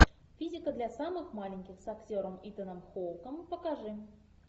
физика для самых маленьких с актером итаном хоуком покажи